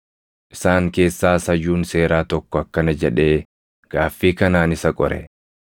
Isaan keessaas hayyuun seeraa tokko akkana jedhee gaaffii kanaan isa qore: